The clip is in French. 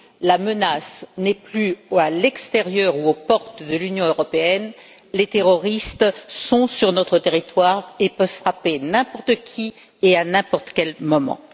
La menace n'est plus à l'extérieur ou aux portes de l'Union européenne, les terroristes sont sur notre territoire et peuvent frapper n'importe qui et à n'importe quel moment.